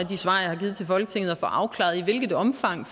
de svar jeg har givet til folketinget at få afklaret i hvilket omfang